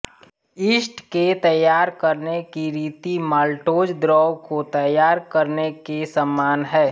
yeast के तैयार करने की रीति माल्टोज़ द्रव को तैयार करने के समान है